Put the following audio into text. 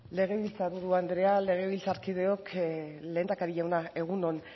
legebiltzar buru andrea legebiltzarkideok lehendakari jauna egun on